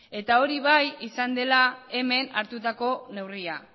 eta hori bai izan dela hemen hartutako neurria